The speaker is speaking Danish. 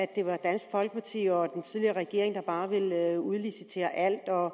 det var dansk folkeparti og den tidligere regering der bare ville udlicitere alt og